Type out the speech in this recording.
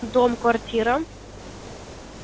дом квартира